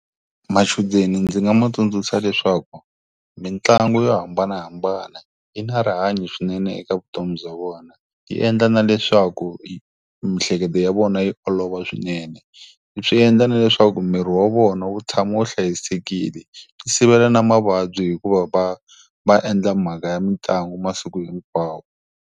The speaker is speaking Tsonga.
Machudeni ndzi nga ma tsundzuxa leswaku, mitlangu yo hambanahambana yi na rihanyo swinene eka vutomi bya vona. Yi endla na leswaku mihleketo ya vona yi olova swinene. Swi endla na leswaku miri wa vona wu tshama wu hlayisekile. Swi sivela na mavabyi hikuva va, va endla mhaka ya mitlangu masiku hinkwawo.